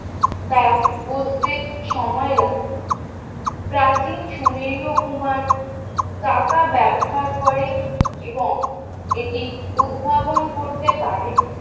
তা বুঝতে সময় লাগেনি প্রাচীন সুমেরীয় কুমার চাকা ব্যবহার করেন এবং এটি উদ্ভাবন করতে পারে।